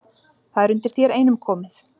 Það er undir þér einum komið